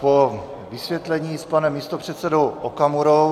Po vysvětlení s panem místopředsedou Okamurou.